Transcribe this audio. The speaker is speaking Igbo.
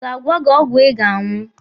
Ọ ga-agwa gị ọgwụ ị ga-aṅụ?